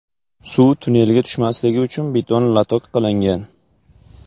Suv tunnelga tushmasligi uchun beton lotok qilingan.